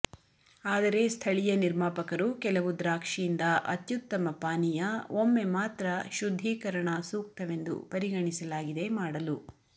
ಆದರೆ ಸ್ಥಳೀಯ ನಿರ್ಮಾಪಕರು ಕೆಲವು ದ್ರಾಕ್ಷಿಯಿಂದ ಅತ್ಯುತ್ತಮ ಪಾನೀಯ ಒಮ್ಮೆ ಮಾತ್ರ ಶುದ್ಧೀಕರಣ ಸೂಕ್ತವೆಂದು ಪರಿಗಣಿಸಲಾಗಿದೆ ಮಾಡಲು